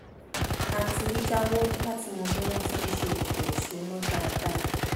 a ti í jáwó láti mọ bí wọ́n ti ń ṣe ètò ìṣúná dáadáa